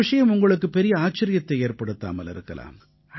இந்த விஷயம் உங்களுக்கு பெரிய ஆச்சரியத்தை ஏற்படுத்தாமல் இருக்கலாம்